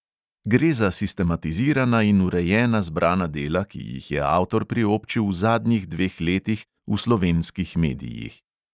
Gre za sistematizirana in urejena zbrana dela, ki jih je avtor priobčil v zadnjih dveh letih v slovenskih medijih.